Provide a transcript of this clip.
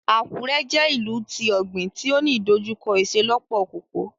Akure jẹ ìlú ti ogbin ti o ní idojukọ iṣelọpọ koko.